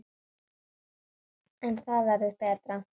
En það verður betra.